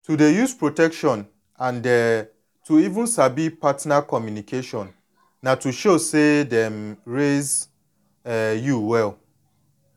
to dey use protection and um to even sabi partner communication na to show say dem raise um you well